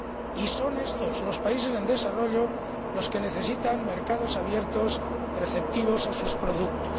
Y son estos, los países en desarrollo, los que necesitan mercados abiertos receptivos a sus productos.